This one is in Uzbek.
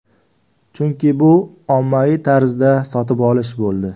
Chunki bu ommaviy tarzda sotib olish bo‘ldi.